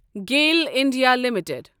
Gayle India limited